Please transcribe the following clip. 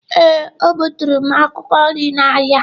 Ee, o gbuturu m akwụkwọ nri n’ahịa.